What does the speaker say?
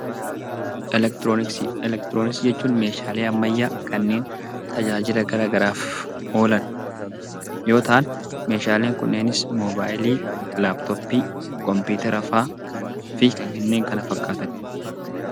Elektirooniksii jechuun meeshaalee ammayyaa kanneen tajaajila garaagaraaf oolan yoo ta'an meeshaaleen kunneenis moobaayilii, laappitooppii, kompiitara fa'aa fi kanneen kana fakkaatan.